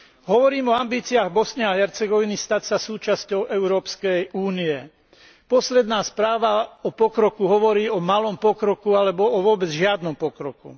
Hovorím o ambíciách Bosny a Hercegoviny stať sa súčasťou Európskej únie. Posledná správa o pokroku hovorí o malom pokroku alebo o vôbec žiadnom pokroku.